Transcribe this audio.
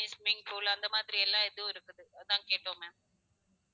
தனி swimming pool அந்த மாதிரி எல்லாம் இதும் இருக்குது அதா கேட்டோம் ma'am